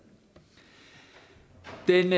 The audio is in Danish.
den